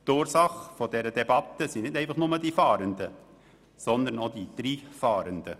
Die Ursache dieser Debatte sind nicht einfach nur die Fahrenden, sondern auch «di Dri-Fahrende».